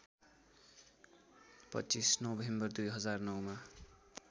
२५ November २००९ मा